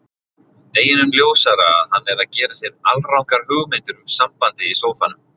Deginum ljósara að hann er að gera sér alrangar hugmyndir um sambandið í sófanum.